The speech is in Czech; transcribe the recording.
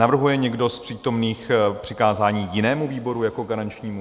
Navrhuje někdo z přítomných přikázání jinému výboru jako garančnímu?